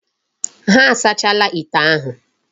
Ha asachaala ite ndi ahu.